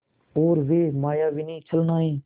और वे मायाविनी छलनाएँ